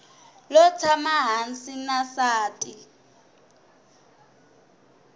lo tshama hansi na nsati